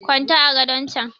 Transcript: kwanta a gadon chan!